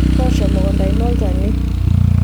toosho emukunta ino olchani